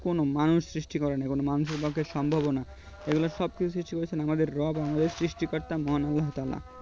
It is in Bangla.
কোনো মানুষ সৃষ্টি করেনি কোনো মানুষের পক্ষে সম্ভবও না এই গুলো সবকিছু সৃষ্টি করেছেন আমাদের রব আমাদের সৃষ্টিকর্তা মহান আল্লাহ তালা